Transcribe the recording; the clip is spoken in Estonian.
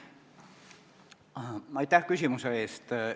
Aitäh küsimuse eest!